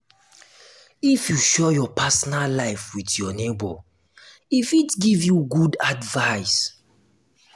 if you share your personal life wit your nebor e fit give you good advice.